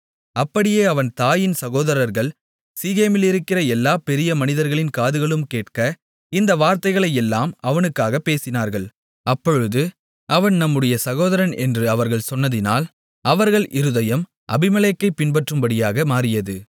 அப்படியே அவன் தாயின் சகோதரர்கள் சீகேமிலிருக்கிற எல்லா பெரிய மனிதர்களின் காதுகளும் கேட்க இந்த வார்த்தைகளையெல்லாம் அவனுக்காகப் பேசினார்கள் அப்பொழுது அவன் நம்முடைய சகோதரன் என்று அவர்கள் சொன்னதினால் அவர்கள் இருதயம் அபிமெலேக்கைப் பின்பற்றும்படியாக மாறியது